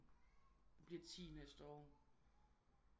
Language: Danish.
Hun bliver 10 næste år